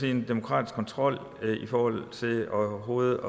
er en demokratisk kontrol i forhold til overhovedet